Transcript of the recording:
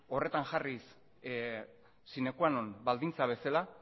horretan jarriz sine quanon baldintza bezala